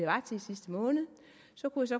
sidste måned